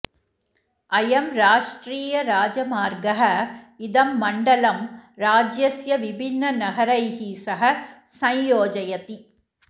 अयं राष्ट्रियराजमार्गः इदं मण्डलं राज्यस्य विभिन्ननगरैः सह सञ्योजयति